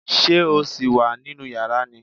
Ṣé o sì wà nínú yàrá ni?